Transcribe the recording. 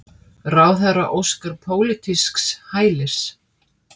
Ráðherra óskar pólitísks hælis